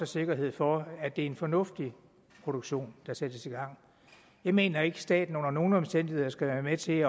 sikkerhed for at det er en fornuftig produktion der sættes i gang jeg mener ikke at staten under nogen omstændigheder skal være med til